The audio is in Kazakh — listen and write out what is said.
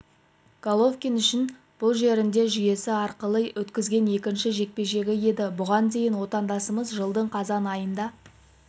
головкин үшін бұл жерінде жүйесі арқылы өткізген екінші жекпе-жегі еді бұған дейін отандасымыз жылдың қазан айында